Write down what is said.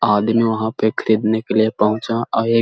आदमी वहाँ पे खरीदने के लिए पहुँचा आए --